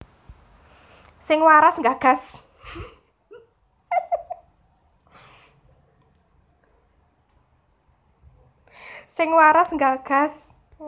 Sing waras nggagas